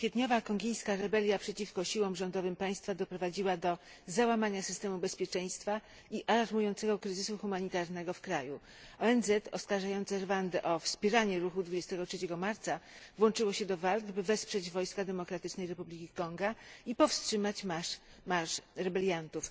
Kwietniowa kongijska rebelia przeciwko siłom rządowym państwa doprowadziła do załamania systemu bezpieczeństwa i alarmującego kryzysu humanitarnego w kraju. ONZ oskarżająca Rwandę o wspieranie Ruchu 23 Marca włączyła się do walk, by wesprzeć wojska Demokratycznej Republiki Konga i powstrzymać marsz rebeliantów.